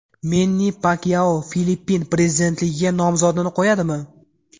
Menni Pakyao Filippin prezidentligiga nomzodini qo‘yadimi?